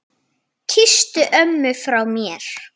Kysstu ömmu frá mér.